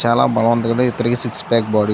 చాలా బలవంతుడు. Three six pack body. --